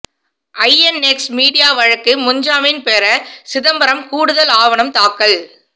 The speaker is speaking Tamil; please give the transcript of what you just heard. ஐஎன்எக்ஸ் மீடியா வழக்கு முன்ஜாமீன் பெற சிதம்பரம் கூடுதல் ஆவணம் தாக்கல்